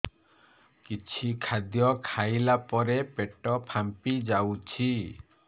କିଛି ଖାଦ୍ୟ ଖାଇଲା ପରେ ପେଟ ଫାମ୍ପି ଯାଉଛି